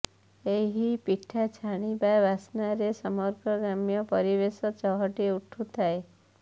ଏହି ପିଠା ଛାଣିବା ବାସ୍ନାରେ ସମଗ୍ର ଗ୍ରାମ୍ୟ ପରିବେଶ ଚହଟି ଉଠୁଥାଏ